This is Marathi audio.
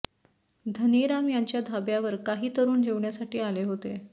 धनीराम यांच्या ढाब्यावर काही तरुण जेवण्यासाठी आले होते